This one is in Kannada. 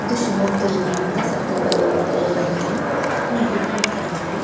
ಇದು ಶಿಮೊಗ್ಗದಲ್ಲಿ ಇರುವಂತಹ ಸಕ್ಕರೆ ಬೆಲ್ಲಾವನ್ನು ಎಲಿಫೆಂಟ್ ಕ್ಯಾಂಪ್ ಈ ಎಲಿಫೆಂಟ್ ಕ್ಯಾಂಪ್ ಅಲ್ಲಿ--